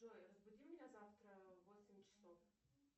джой разбуди меня завтра в восемь часов